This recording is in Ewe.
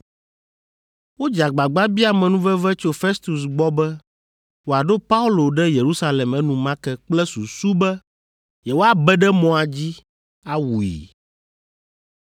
Wodze agbagba bia amenuveve tso Festus gbɔ be wòaɖo Paulo ɖe Yerusalem enumake kple susu be, yewoabe ɖe mɔa dzi awui.